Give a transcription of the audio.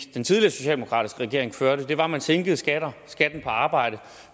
den tidligere socialdemokratiske regering førte det var at man sænkede skatten på arbejde